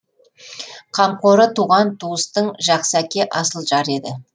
қамқоры туған туыстың жақсы әке асыл жар еді